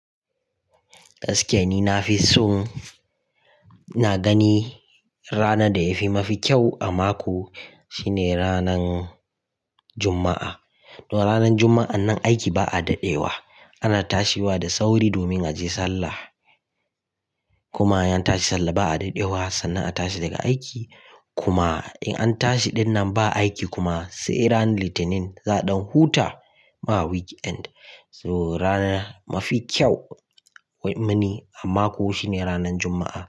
Gaskiya ni nafison ina gani rana da yafi kyau a mako shine ranan Juma'a. Don ranan Juma'a nan aiki ba a dadewa ana tashiwa da sauri domin aje sallah. Kuma in an tashi sallah ba a dadewa sannan a tashi daga aiki kuma in an tashi dinnan ba aiki kuma sai ranar Litinin za don huta ma weekend. So rana mafi kyau mini a mako shine ranan Juma'a.